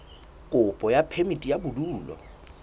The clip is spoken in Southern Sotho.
kopo ya phemiti ya bodulo